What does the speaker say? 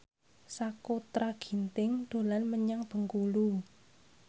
Sakutra Ginting dolan menyang Bengkulu